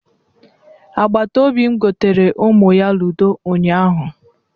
Agbatobi m goteere ụmụ ya ludo ụnyaahụ.